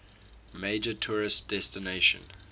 major tourist destination